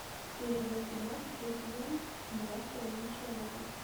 серия двадцать два шестой сезон два с половиной человека